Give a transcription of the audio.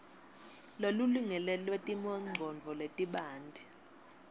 lolulingene lwetimongcondvo letibanti